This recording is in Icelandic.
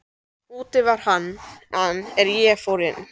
Úti var hann er ég fór inn.